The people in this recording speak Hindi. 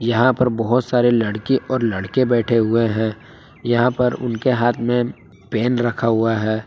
यहां पर बहुत सारे लड़की और लड़के बैठे हुए हैं यहां पर उनके हाथ में पेन रखा हुआ है।